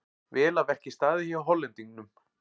Vel að verki staðið hjá Hollendingnum.